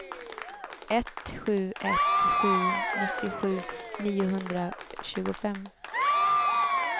ett sju ett sju nittiosju niohundratjugofem